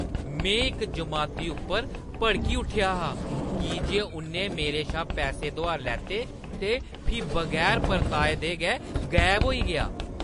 में इक जमाती उप्पर भड़की उट्ठेआ हा की जे उʼन्नै मेरे शा पैसे दुहार लैते ते फ्ही बगैर परताए दे गै गायब होई गेआ।